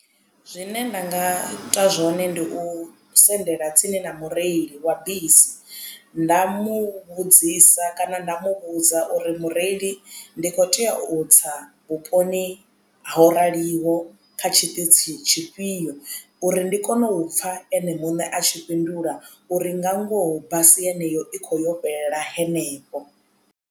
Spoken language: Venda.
Zwine nda nga ita zwone ndi u sendela tsini na mureili wa bisi nda muvhudzisa kana nda muvhudza uri mureili ndi khou tea u tsa vhuponi ho raliho kha tshiṱitshi tshifhio uri ndi kone u pfha ene muṋe a tshi fhindula uri nga ngoho basi yeneyo i kho yo fhelela hanefho.